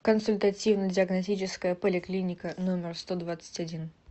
консультативно диагностическая поликлиника номер сто двадцать один